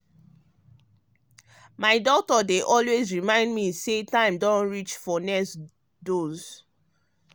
my doctor dey always remind me say time don reach for next dose.